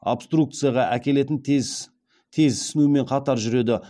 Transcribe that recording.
обструкцияға әкелетін тез ісінумен қатар жүреді